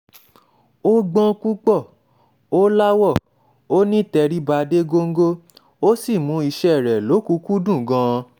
ó gbọ́n púpọ̀ ò láwọ̀ ó nítẹríba dé góńgó ó sì mú iṣẹ́ rẹ̀ lọ́kùn-ún-kúndùn gan-an